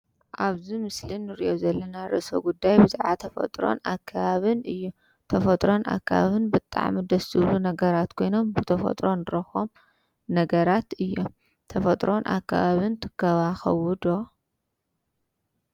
ኣብዚ ምስሊ እንሪኦ ዘለና ርእሰ ጉዳይ ብዛዕባ ተፈጥቆን ኣከባቢን እዩ፡፡ ተፈጥሮን ኣከባቢን ብጣዕሚ ደስ ዝብሉ ነገራት ኮይኖም ብተፈጥሮ እንረክቦም ነገራት እዮም፡፡ ተፈጥሮን ኣከባቢን ትንከባከቡ ዶ?